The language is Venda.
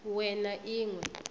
we na i ṅ we